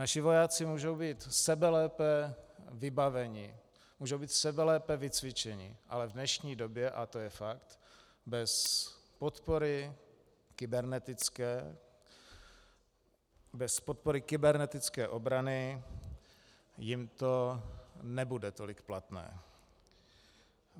Naši vojáci můžou být sebelépe vybavení, můžou být sebelépe vycvičeni, ale v dnešní době, a to je fakt, bez podpory kybernetické, bez podpory kybernetické obrany jim to nebude tolik platné.